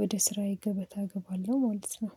ወደ ስራዬ ገበታ እገባለሁ ማለት ነው